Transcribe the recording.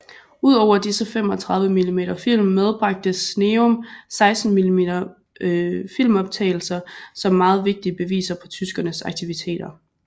Ud over disse 35 mm film medbragte Sneum 16 mm filmoptagelser som meget vigtige beviser på tyskernes aktiviteter